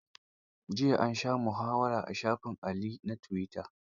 Jiya an sha muhawara a shafin Ali na tuwita.